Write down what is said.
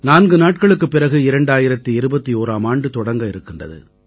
நான்கு நாட்களுக்குப் பிறகு 2021ஆம் ஆண்டு தொடங்க இருக்கின்றது